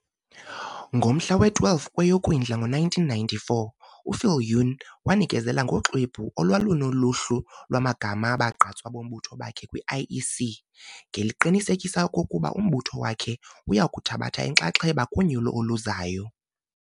Ngomhla we-12 kweyoKwindla ngo1994, uViljoen wanikezela ngoxwebhu olwalunoluhlu lwamagama abagqatswa bombutho wakhe kwi-IEC, ngeliqinisekisa okokuba umbutho wakhe uyakuthabatha inxaxheba kunyulo oluzayo.